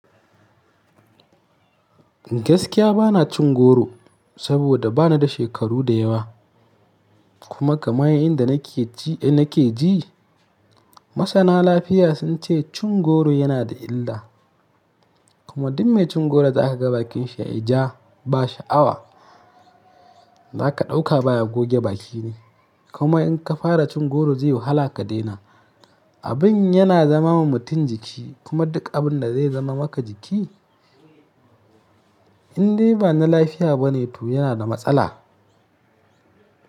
Gaskiya bana cin goro saboda bani da shekaru da yawa. Kuma kamai inda nake ji, nake ji masana lafiya sun ce cin goro yana da illa. Kuma duk mai cin goro za ka ga bakin shi yayi ja ba sha'awa. Za ka ɗauka baya goge baki ne. Kuma in ka fara cin goro zai yi wahala ka daina. Abin yana zama wa mutum jiki kuma duk abin da zai zama maka jiki, in dai ba na lafiya bane to yana da matsala.